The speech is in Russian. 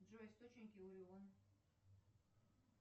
джой источники